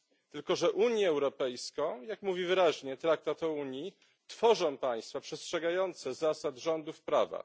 Tylko że Unię Europejską, jak mówi wyraźnie Traktat o Unii, tworzą państwa przestrzegające zasad rządów prawa.